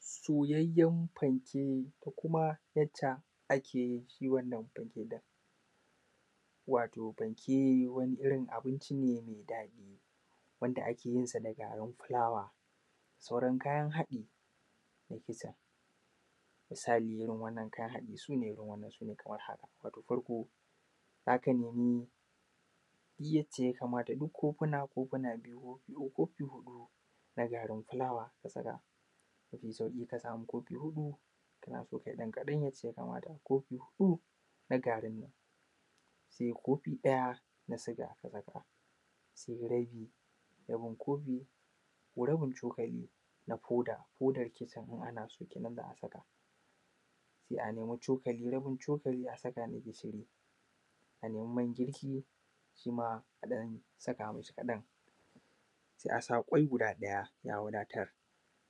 Soyayyen fanke da kuma yacca akeyin shiwannan fanke ɗin. wato fanke wani abinci ne mai daɗi wanda akeyinsa da garin fulawa da sauran kayan haɗi, misalin irrin wannan kayan haɗi sune irin wannan Kamar wannan. wato farko zaka nemi duk yace yakamata n kafuna kofuna biyu ko kofi huɗu na garin fulawa ka saka. Inka sami kofi kanaso kayi ɗan kaɗan so inka sami kofi huɗu na garin fulawa da kofi ɗaya na siga ka saka sai rai rabi rabin kofi ko rabin cokali na foda, kennan anaso ittama a saka sai a nemo rabin cokali a saka a nemo mangirki shima a ɗan saka mishi kaɗan, sai’asa kwai guda ɗaya ya wadatar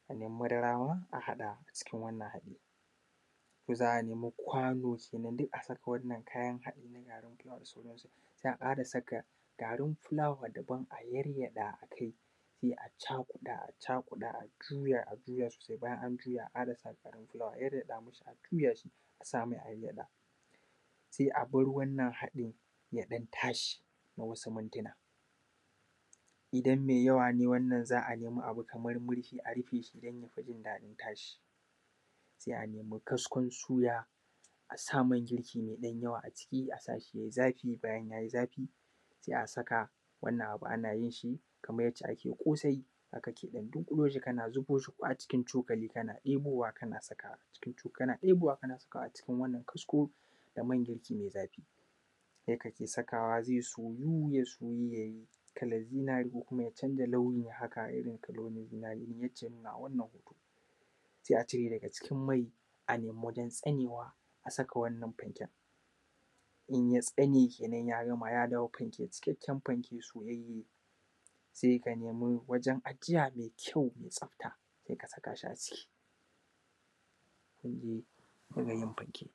madara ma a saka a cikin wannan haɗin. za’a nema kwano kenan duk saka wannan kayan haɗin su garin fulawa, za’a fara saka garin fulawanmu kadan sai a yaryaɗa akai sai a cakuɗa a cakuɗa sai juya a juya sosai bayan anjuya sai a ƙarasa garin fulawan a yaryaɗa mishi ajuya sosai a samai magyaɗa sai wannan haɗi yaɗan tashi nawasu mintuna. Idan mai yawane wannan za’a nemi murfinshi a rufeshi zaifi tashi. Sai a nemi kaskon suya asa mangirki maiɗan yawa a ciki asashi yayi zafi, bayan yayi zafi sai a saka wannan abu anayinshi Kaman yacce ake kosai haka kenan zaka ɗiboshi kana ɗibowa kana sakawa a cikin wannan kasko da maiyai zafi. Yakan sakawa ya soyu ya soyu kalan zinari ko kuma yacanja launi haka, yayi Kaman zinari yake nunawa a cikin wannan hoto sai a cireshi acikin mai a nemi wurin tsanewa a saka wannan fanken inya tsane kenan ya gama ya dawo fanke cikakken fanke so saika nemi wajen ajiya mai kyau mai tsafta saika sakashi a ciki. hanyar yin fanke